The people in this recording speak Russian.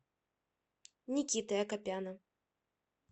никиты акопяна